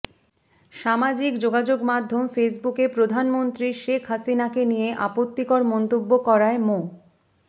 সামাজিক যোগাযোগমাধ্যম ফেসবুকে প্রধানমন্ত্রী শেখ হাসিনাকে নিয়ে আপত্তিকর মন্তব্য করায় মো